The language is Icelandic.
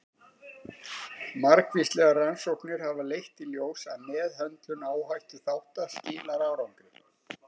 Margvíslegar rannsóknir hafa leitt í ljós að meðhöndlun áhættuþátta skilar árangri.